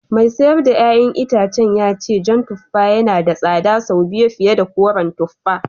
Mai sayar da ’ya’yan itacen ya ce jan tuffa yana da tsada sau biyu fiye da koren tuffa